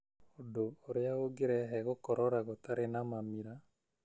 ũndũ ũrĩa ũngĩrehe gũkorora gũtarĩ na mamira